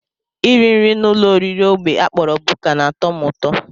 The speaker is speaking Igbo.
Iri nri n'ụlọoriri ógbè a kpọrọ buka na-atọ m ụtọ